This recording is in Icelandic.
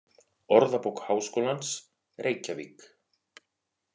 Orðabók Háskólans: Reykjavík.